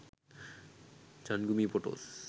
changumi photos